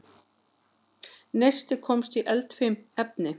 Neisti komst í eldfim efni